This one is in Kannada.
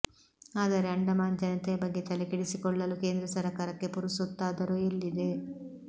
ಆದರೆ ಅಂಡಮಾನ್ ಜನತೆಯ ಬಗ್ಗೆ ತಲೆಕೆಡಿಸಿಕೊಳ್ಳಲು ಕೇಂದ್ರ ಸರಕಾರಕ್ಕೆ ಪುರುಸೊತ್ತಾದರೂ ಎಲ್ಲಿದೆ